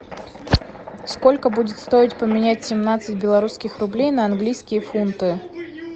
сколько будет стоить поменять семнадцать белорусских рублей на английские фунты